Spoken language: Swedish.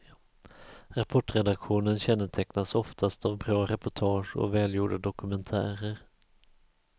Rapportredaktionen kännetecknas oftast av bra reportage och välgjorda dokumentärer.